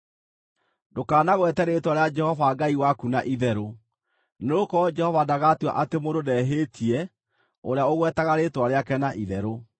“Ndũkanagwete rĩĩtwa rĩa Jehova Ngai waku na itherũ, nĩgũkorwo Jehova ndagatua atĩ mũndũ ndehĩtie ũrĩa ũgwetaga rĩĩtwa rĩake na itherũ.